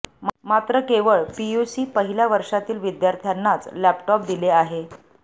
मात्र केवळ पियुसी पहिल्या वर्षातील विद्यार्थ्यांनाच लॅपटॉप दिले आहे